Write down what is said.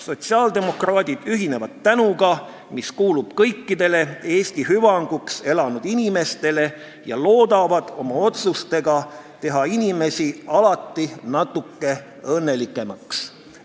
Sotsiaaldemokraadid ühinevad tänuga, mis kuulub kõikidele Eesti hüvanguks elanud inimestele, ja loodavad oma otsustega teha inimesi alati natuke õnnelikumaks.